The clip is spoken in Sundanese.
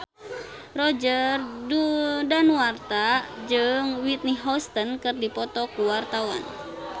Roger Danuarta jeung Whitney Houston keur dipoto ku wartawan